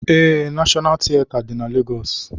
Ee, Nashọnal tieta dị na Legọs.